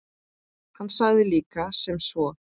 Hann sagði líka sem svo